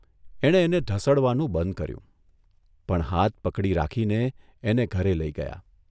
એણે એને ઢસડવાનું બંધ કર્યું, પણ હાથ પકડી રાખીને એને ઘરે લઇ ગયા.